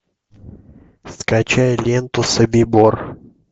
скачай ленту собибор